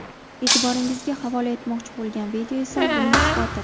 E’tiboringizga havola etmoqchi bo‘lgan video esa buning isboti.